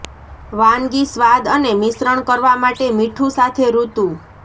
વાનગી સ્વાદ અને મિશ્રણ કરવા માટે મીઠું સાથે ઋતુ